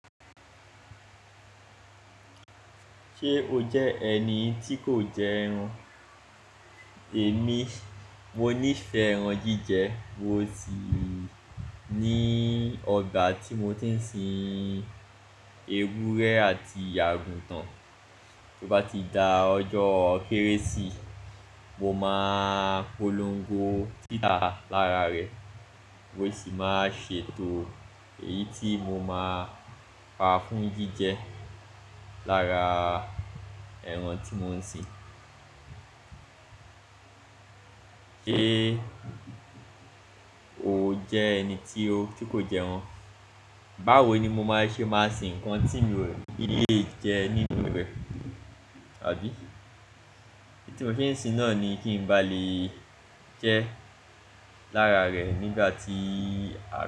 Ṣé o jẹ́ ẹni tí kò jẹ ẹran? Èmi, mo nífẹ̀ẹ́ ẹran jíjẹ. Mo tì ni ọ̀gbà tí mo ti ń sin ewúrẹ́ àti àgùntàn. Bí ó bá ti da ọjọ́ Kérésì, mo máa polongo títà lára rẹ̀. Mo sì máa ṣètò èyí tí mo máa pà fún jíjẹ lára ẹran tí mo ń sin. Ṣé o jẹ́ ẹni tí ó, tí kò jẹ ẹran? Báwo ni mo máa ṣe máa sin ǹkan tí n ò lè jẹ nínú rẹ̀, àbí? Idi tí mo fi ń sin náà ni kí n bá lè jẹ ẹ́ lára rẹ̀ nígbà tí a.